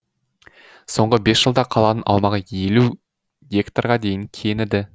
соңғы бес жылда қаланың аумағы елу гектарға дейін кеңіді